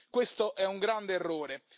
Questo è un grande errore.